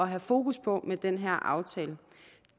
have fokus på med den her aftale